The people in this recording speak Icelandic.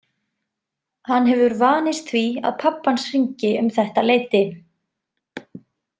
Hann hefur vanist því að pabbi hans hringi um þetta leyti.